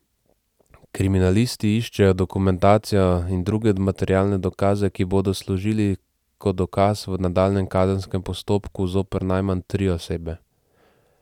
Kriminalisti iščejo dokumentacijo in druge materialne dokaze, ki bodo služili kot dokaz v nadaljnjem kazenskem postopku zoper najmanj tri osebe.